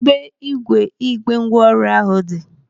Kedụ ebe ígwè igbe ngwa ọrụ ahụ dị?